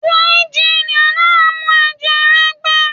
Díríí jin a mu ẹ̀jẹ̀ rẹ gbẹ.